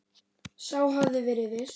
Sá hafði verið viss!